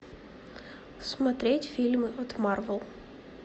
смотреть фильмы от марвел